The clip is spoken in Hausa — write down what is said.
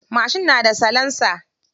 Mashin na da salansa.